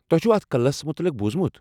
تۄہہ چھوٕ اتھ قلعس متعلق بوزمُت؟